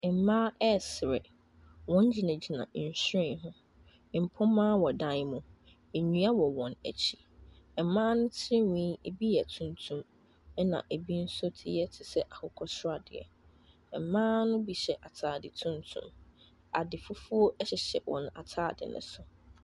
Mmaa resere. Wɔgyinagyina nhwiren ho. Mpoma wɔ dan mu. Nnua wɔ wɔn akyi. Mmaa tirinwi, ebi yw tuntum, ɛnna ebi nso ti yɛ te sɛ akokɔ sradeɛ. Mmaa no bi hyɛ atade tuntunm. Ade fufuo hyehyɛ wɔn atade no so.